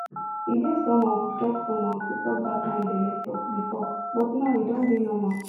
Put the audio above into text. e dey somehow to talk somehow to talk that kind belle talk before but now e don dey normal